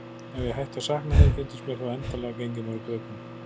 Ef ég hætti að sakna þín fyndist mér þú endanlega genginn mér úr greipum.